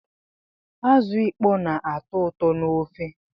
Azụ ịkpọ na-atọ ụtọ n'ofe